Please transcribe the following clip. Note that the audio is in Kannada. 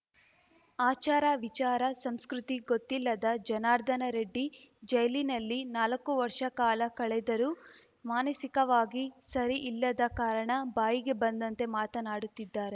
ಆಚಾರ ವಿಚಾರ ಸಂಸ್ಕೃತಿ ಗೊತ್ತಿಲ್ಲದ ಜನಾರ್ದನ ರೆಡ್ಡಿ ಜೈಲಿನಲ್ಲಿ ನಾಲಕ್ಕು ವರ್ಷ ಕಾಲ ಕಳೆದರೂ ಮಾನಸಿಕವಾಗಿ ಸರಿ ಇಲ್ಲದ ಕಾರಣ ಬಾಯಿಗೆ ಬಂದಂತೆ ಮಾತನಾಡುತ್ತಿದ್ದಾರೆ